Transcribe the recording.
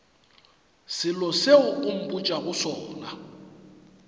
selo seo o mpotšago sona